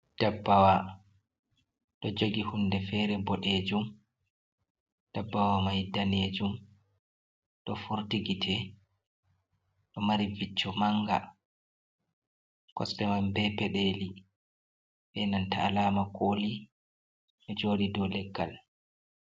Ɗabbawa ɗo jagi hunɗe fere boɗejum. Ɗabbawa mai ɗanejum ɗo forti gite. Ɗo mari vicco manga kosɗeman be peɗeli be nanta alama koli, ɗo joɗi ɗow leggal.